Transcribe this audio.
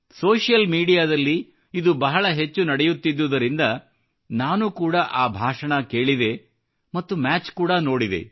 social ಮೀಡಿಯಾದಲ್ಲಿ ಇದು ಬಹಳ ಹೆಚ್ಚು ನಡೆಯುತ್ತಿದ್ದುದರಿಂದ ನಾನು ಕೂಡಾ ಆ ಭಾಷಣ ಕೇಳಿದೆ ಮತ್ತು ಮ್ಯಾಚ್ ಕೂಡಾ ನೋಡಿದೆ